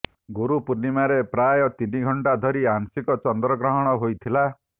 ଗୁରୁ ପୂର୍ଣ୍ଣିମାରେ ପ୍ରାୟ ତିନି ଘଣ୍ଟା ଧରି ଆଂଶିକ ଚନ୍ଦ୍ରଗ୍ରହଣ ହୋଇଥିଲା